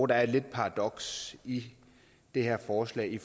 der er et paradoks i det her forslag i